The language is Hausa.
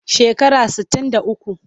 Shekara sittin da uku.